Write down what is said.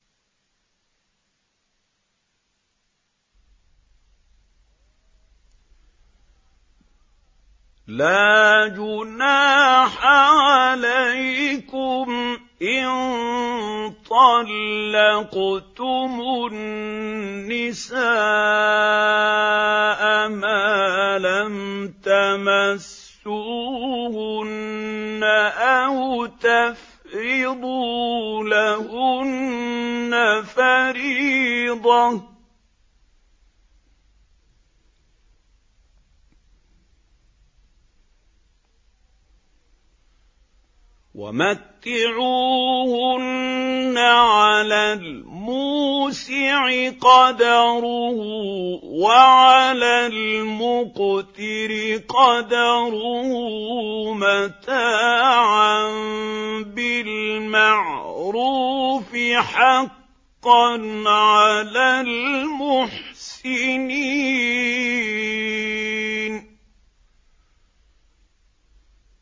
لَّا جُنَاحَ عَلَيْكُمْ إِن طَلَّقْتُمُ النِّسَاءَ مَا لَمْ تَمَسُّوهُنَّ أَوْ تَفْرِضُوا لَهُنَّ فَرِيضَةً ۚ وَمَتِّعُوهُنَّ عَلَى الْمُوسِعِ قَدَرُهُ وَعَلَى الْمُقْتِرِ قَدَرُهُ مَتَاعًا بِالْمَعْرُوفِ ۖ حَقًّا عَلَى الْمُحْسِنِينَ